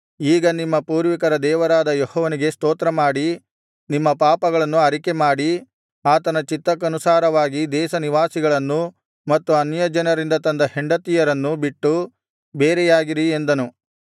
ಈಗ ನಿಮ್ಮ ಪೂರ್ವಿಕರ ದೇವರಾದ ಯೆಹೋವನಿಗೆ ಸ್ತೋತ್ರಮಾಡಿ ನಿಮ್ಮ ಪಾಪಗಳನ್ನು ಅರಿಕೆಮಾಡಿ ಆತನ ಚಿತ್ತಕ್ಕನುಸಾರವಾಗಿ ದೇಶನಿವಾಸಿಗಳನ್ನೂ ಮತ್ತು ಅನ್ಯಜನರಿಂದ ತಂದ ಹೆಂಡತಿಯರನ್ನೂ ಬಿಟ್ಟು ಬೇರೆಯಾಗಿರಿ ಎಂದನು